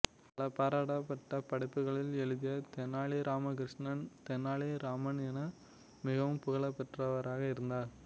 பல பாராட்டப்பட்ட படைப்புகளை எழுதிய தெனாலி ராமகிருஷ்ணன் தெனாலி ராமன் என மிகவும் புகழ் பெற்றவராக இருந்தார்